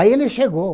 Aí ele chegou.